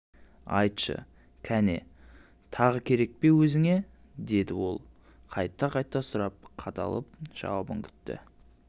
айтшы кәне тағы керек пе өзіңе дедіол қайта-қайта сұрап қадалып жауабын күтті